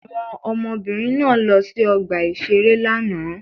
Àwọn ọmọbìnrin náà lọ sí ọgbà-ìṣeré lánàá.